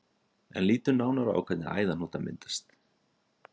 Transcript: En lítum nánar á hvernig æðahnútar myndast.